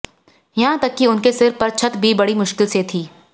यहाँ तक कि उनके सिर पर छत भी बड़ी मुश्किल से थी